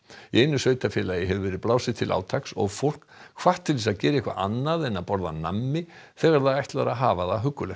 í einu sveitarfélagi hefur verið blásið til átaks og fólk hvatt til að gera eitthvað annað en að borða nammi þegar það ætlar að hafa það huggulegt